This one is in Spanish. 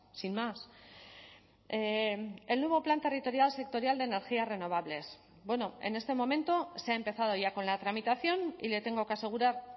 sin más el nuevo plan territorial sectorial de energías renovables en este momento se ha empezado ya con la tramitación y le tengo que asegurar